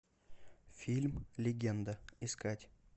фильм легенда искать